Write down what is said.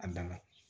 A dan na